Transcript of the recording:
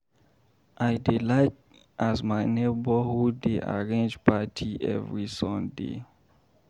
I dey like as my neborhood dey arrange party every Sunday.